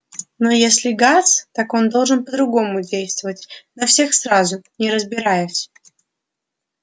но если газ так он должен по-другому действовать на всех сразу не разбираясь